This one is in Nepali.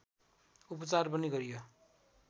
उपचार पनि गरियो